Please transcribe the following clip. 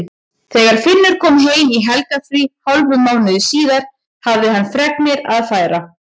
Þegar Finnur kom heim í helgarfrí hálfum mánuði síðar hafði hann fregnir að færa.